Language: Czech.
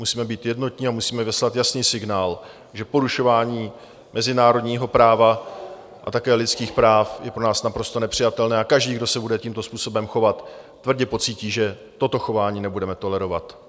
Musíme být jednotní a musíme vyslat jasný signál, že porušování mezinárodního práva a také lidských práv je pro nás naprosto nepřijatelné a každý, kdo se bude tímto způsobem chovat, tvrdě pocítí, že toto chování nebudeme tolerovat.